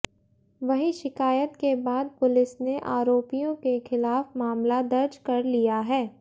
वहीं शिकायत के बाद पुलिस ने आरोपियों के खिलाफ मामला दर्ज कर लिया है